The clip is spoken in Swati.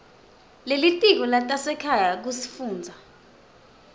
lelitiko letasekhaya kusifundza